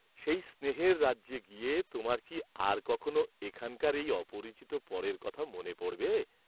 সেই স্নেহের রাজ্যে গিয়ে তােমার কি আর কখনাে এখানকার এই অপরিচিত পরের কথা মনে পড়বে!